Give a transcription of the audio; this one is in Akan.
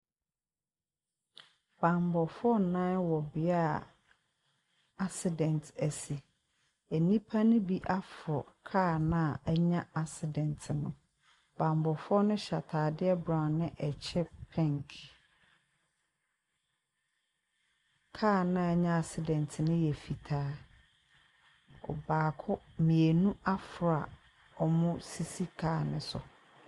Bammɔfo nnan wɔ beaeɛ a accident asi. Nnipa no bi aforo kaa no a anya accident no. Bammɔfoɔ no hyɛ ataadeɛ brown ne ɛkyɛ pink. Kaa no a anya accident no yɛ fitaa. Ↄbaako mmienu aforo a wɔsisi kaa no so.